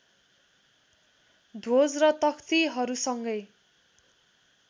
ध्वज र तख्तिहरूसँगै